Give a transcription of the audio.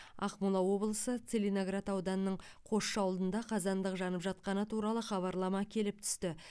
ақмола облысы целиноград ауданының қосшы ауылында қазандық жанып жатқаны туралы хабарлама келіп түсті